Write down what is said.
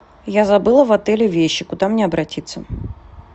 я забыла в отеле вещи куда мне обратиться